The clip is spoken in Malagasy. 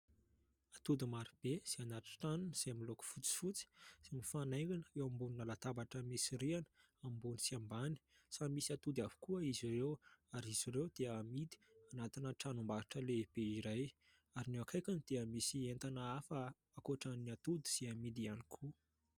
Atody marobe izay anaty tranony izay miloko fotsifotsy sy mifanaingina eo ambony latabatra, misy rihana ambony sy ambany. Samy misy atody avokoa izy ireo ary izy ireo dia amidy anatina tranombarotra lehibe iray ary ny eo akaikiny dia misy entana hafa ankoatran'ny atody sy amidy ihany koa.